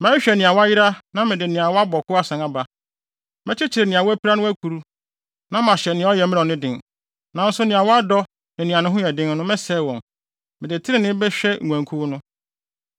Mɛhwehwɛ nea wayera na mede nea wabɔ ko asan aba. Mɛkyekyere nea wapira no akuru, na mahyɛ nea ɔyɛ mmerɛw no den, nanso nea wadɔ ne nea ne ho yɛ den no, mɛsɛe wɔn. Mede trenee bɛhwɛ nguankuw no.